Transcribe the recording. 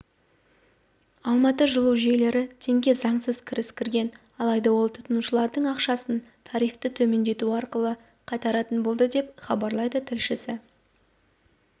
алматы жылу жүйелері теңге заңсыз кіріс кіргізген алайда ол тұтынушылардың ақшасын тарифті төмендету арқылы қайтаратын болды деп хабарлайды тілшісі